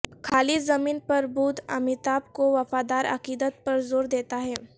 خالص زمین پر بدھ امیتابھ کو وفادار عقیدت پر زور دیتا ہے